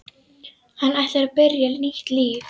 Hann ætlar að byrja nýtt líf.